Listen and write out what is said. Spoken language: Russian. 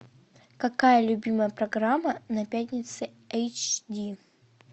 какая любимая программа на пятнице эйч ди